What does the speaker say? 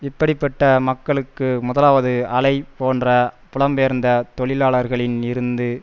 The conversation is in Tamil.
இப்படி பட்ட மக்களுக்கு முதலாவது அலை போன்ற புலம்பெயர்ந்த தொழிலாளர்களில் இருந்து